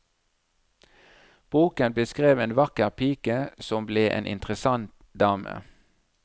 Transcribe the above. Boken beskrev en vakker pike som ble en interessant dame.